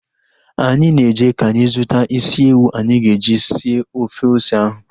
Anyị na-eje ka anyị zụta isi ewu anyị ga-eji sie ofe ose ahụ